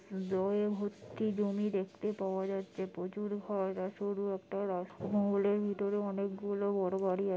দয় ভর্তি জমি দেখতে পাওয়া যাচ্ছে। প্রচুর ঘাস সরু একটা রাস্তা। রাজমহলের ভিতরে অনেকগুলো বড়ো বাড়ি আছে।